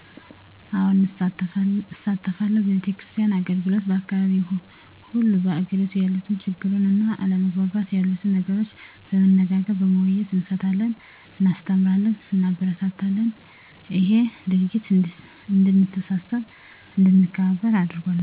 አዎ እሳተፋለሁ በቤተክርስቲያን አገልግሎት በአካባቢው ሆኑ በአገሬቱ ያሉትን ችግሩን እና አለመግባባት የሉትን ነገሮች በመነጋገር በመወያየት እንፈታለን እናስተምራለን እንማርበታለንም እሄ ድርጊት እድንተሳሰብ አድንከባበር አርጎናል